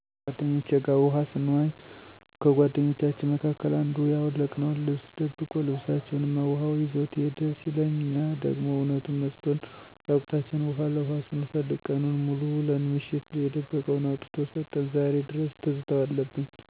ከጓደኞቸ ጋር ውሀ ሰንዋኝ ከጓደኞቻችን መካከል አንዱ ያወለቅነውን ልብስ ደብቆ ልብሰችሁንማ ውሀው ይዞት ሄደ ሲለን እኛ ደሞ እውነቱን መስሎን እራቁታችን ውሀ ለኋ ስንፈልግ ቀኑን ሙሉ ውለን ምሽት የደበቀውን አውጥቶ ሰጠን ዛሬ ድረስ ትዝታው አለብኝ።